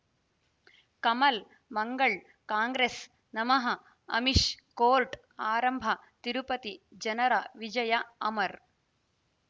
ಕಮಲ್ ಮಂಗಳ್ ಕಾಂಗ್ರೆಸ್ ನಮಃ ಅಮಿಷ್ ಕೋರ್ಟ್ ಆರಂಭ ತಿರುಪತಿ ಜನರ ವಿಜಯ ಅಮರ್